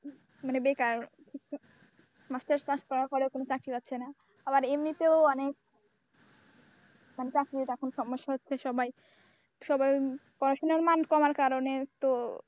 মানে বেকার masters পাশ করার ফলেও চাকরি পাচ্ছে না আবার এমনিতেও অনেক মানে চাকরির তো এখন সমস্যা হচ্ছে সবাই সবার পড়াশোনার মান কমার কারণে তো,